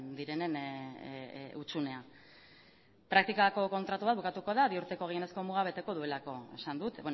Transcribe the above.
direnen hutsuneak praktikako kontratu bat bukatuko da bi urteko gehienezko muga beteko duelako esan dut